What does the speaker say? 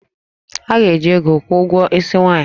A ga-eji ego kwụọ ụgwọ isi nwaanyị